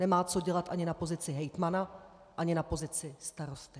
Nemá co dělat ani na pozici hejtmana, ani na pozici starosty.